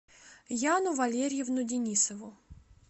яну валерьевну денисову